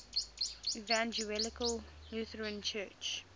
evangelical lutheran church